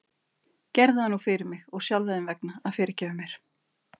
Gerðu það nú fyrir mig, og sjálfrar þín vegna, að fyrirgefa mér.